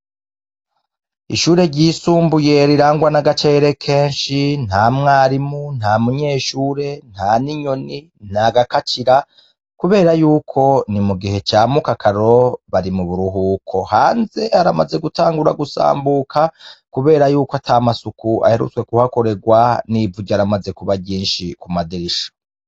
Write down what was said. Ishure ryisumbuye rirangwa n'agacere kenshi nta mwarimu nta munyeshure nta n'inyoni ntagakacira, kubera yuko ni mu gihe camukakaro bari mu buruhuko hanze aramaze gutangura gusambuka, kubera yuko ata masuku aherutswe kuhakorerwani nivuryo aramaze kuba ryinshi kumaderisha.